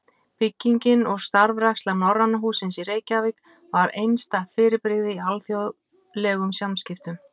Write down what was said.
Bygging og starfræksla Norræna hússins í Reykjavík var einstætt fyrirbrigði í alþjóðlegum samskiptum.